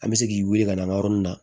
An bɛ se k'i wuli ka na an yɔrɔnin na